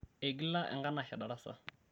eigila enkanashe darasa